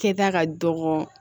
Kɛta ka dɔgɔ